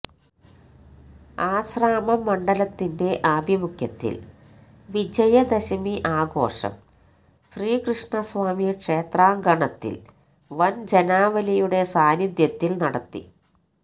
ആശ്രാമം മണ്ഡലത്തിന്റെ ആഭിമുഖ്യത്തില് വിജയദശമി ആഘോഷം ശ്രീകൃഷ്ണസ്വാമി ക്ഷേത്രാങ്കണത്തില് വന് ജനാവലിയുടെ സാന്നിധ്യത്തില് നടത്തി